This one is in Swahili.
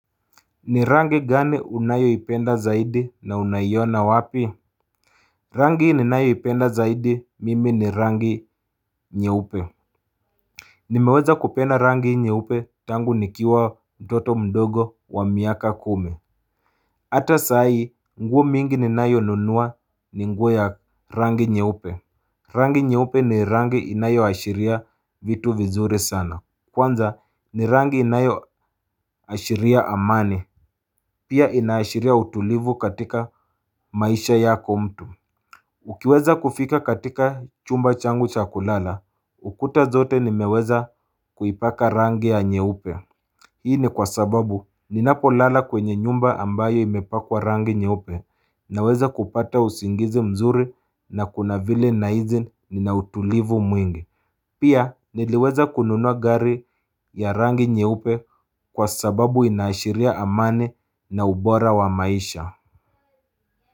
Ni rangi gani unayo ipenda zaidi na unaiona wapi Rangi ni nayo ipenda zaidi mimi ni rangi nye upe Nimeweza kupenda rangi nye upe tangu nikiwa mtoto mdogo wa miaka kumi Ata saai nguo mingi ni nayonunua ni nguoya rangi nye upe Rangi nye upe ni rangi inayo ashiria vitu vizuri sana Kwanza ni rangi inayo ashiria amani Pia inaashiria utulivu katika maisha yako mtu Ukiweza kufika katika chumba changu chakulala ukuta zote nimeweza kuipaka rangi ya nyeupe Hii ni kwa sababu ninapo lala kwenye nyumba ambayo imepakwa rangi nyeupe Naweza kupata usingizi mzuri na kuna vile naizi ninautulivu mwingi Pia niliweza kununua gari ya rangi nye upe kwa sababu inaashiria amani na ubora wa maisha.